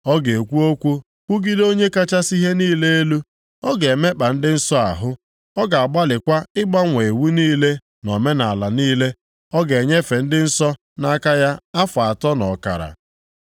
Ọ ga-ekwu okwu kwugide Onye kachasị ihe niile elu. O ga-emekpa ndị nsọ ahụ. Ọ ga-agbalịkwa ịgbanwe iwu niile na omenaala niile. A ga-enyefe ndị nsọ nʼaka ya afọ atọ na ọkara.